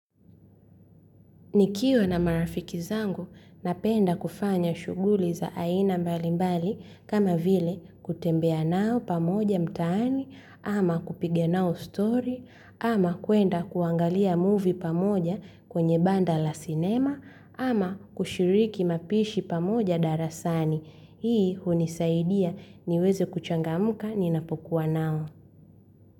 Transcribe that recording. Nikiwa na marafiki zangu napenda kufanya shuguli za aina mbalimbali kama vile kutembea nao pamoja mtaani ama kupiga nao stori ama kuenda kuangalia muvi pamoja kwenye banda la cinema ama kushiriki mapishi pamoja darasani. Hii hunisaidiya niweze kuchangamuka ni napokuwa nao.